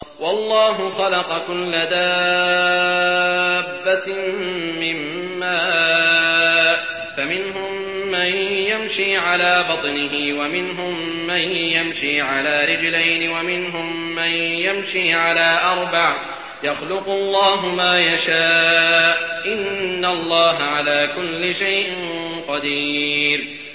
وَاللَّهُ خَلَقَ كُلَّ دَابَّةٍ مِّن مَّاءٍ ۖ فَمِنْهُم مَّن يَمْشِي عَلَىٰ بَطْنِهِ وَمِنْهُم مَّن يَمْشِي عَلَىٰ رِجْلَيْنِ وَمِنْهُم مَّن يَمْشِي عَلَىٰ أَرْبَعٍ ۚ يَخْلُقُ اللَّهُ مَا يَشَاءُ ۚ إِنَّ اللَّهَ عَلَىٰ كُلِّ شَيْءٍ قَدِيرٌ